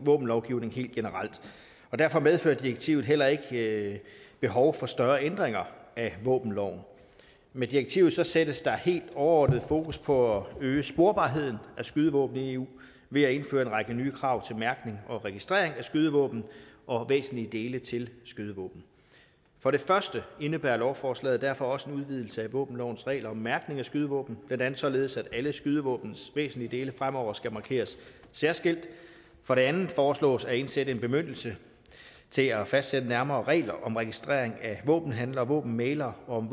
våbenlovgivning helt generelt og derfor medførte direktivet heller ikke behov for større ændringer af våbenloven med direktivet sættes der helt overordnet fokus på at øge sporbarheden af skydevåben i eu ved at indføre en række nye krav til mærkning og registrering af skydevåben og væsentlige dele til skydevåben for det første indebærer lovforslaget derfor også en udvidelse af våbenlovens regler om mærkning af skydevåben blandt andet således at alle skydevåbnets væsentlige dele fremover skal markeres særskilt for det andet foreslås at indsætte en bemyndigelse til at fastsætte nærmere regler om registrering af våbenhandlere og våbenmæglere og om